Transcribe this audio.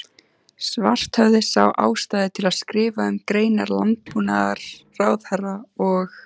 Svarthöfði sá ástæðu til að skrifa um greinar landbúnaðarráðherra og